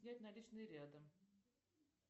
снять наличные рядом